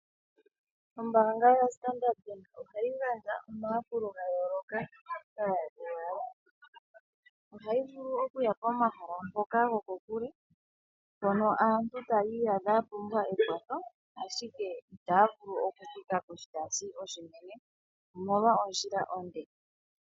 Ombaanga yoStandard ohayi gandja omayakulo ga yooloka. Ohayi vulu okuya komahala ngoka go kokule, mpono aantu tayi iyadha ya pumbwa ekwatho, ashike itaa vulu okuthika koshitaasi oshinene omolwa ondjila onde.